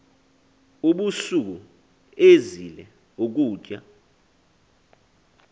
ubusuku ezila ukutya